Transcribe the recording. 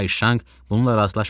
Kayşanq bununla razılaşmırdı.